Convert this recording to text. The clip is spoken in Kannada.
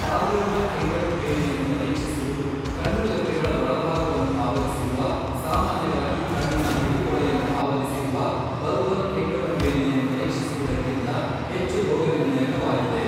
ಪಾಲ್ಪೆಬ್ರಲ್ ಕೆಂಗಣ್ಣು ಬೇನೆಯನ್ನು ಪರೀಕ್ಷಿಸುವುದು, ಕಣ್ಣುರೆಪ್ಪೆಗಳ ಒಳಭಾಗವನ್ನು ಆವರಿಸಿರುವ, ಸಾಮಾನ್ಯವಾಗಿ ಕಣ್ಣಿನ ಬಿಳಿಪೊರೆಯನ್ನು ಆವರಿಸಿರುವ ಬಲ್ಬಲ್ ಕೆಂಗಣ್ಣು ಬೇನೆಯನ್ನು ಪರೀಕ್ಷಿಸುವುದಕ್ಕಿಂತ ಹೆಚ್ಚು ರೋಗನಿರ್ಣಯಕವಾಗಿದೆ.